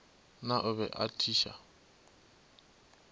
na o be a thiša